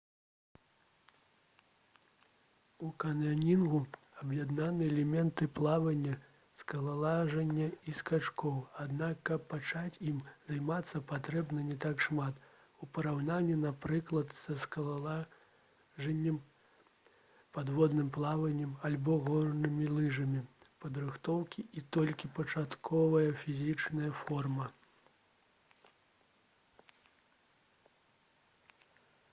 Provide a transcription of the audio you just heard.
у каньёнінгу аб'яднаны элементы плавання скалалажання і скачкоў аднак каб пачаць ім займацца патрэбна не так шмат у параўнанні напрыклад са скалалажаннем падводным плаваннем альбо горнымі лыжамі падрыхтоўкі і толькі пачатковая фізічная форма